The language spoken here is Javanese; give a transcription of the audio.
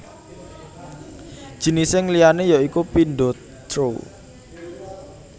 Jinising liyané ya iku pindo throw